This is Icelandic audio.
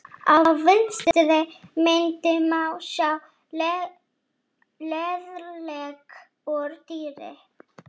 Á vinstri myndinni má sjá lærlegg úr dýrum.